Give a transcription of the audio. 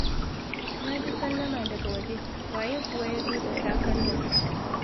Na ji sallama daga waje. Waye kuwa ya zo da safen nan?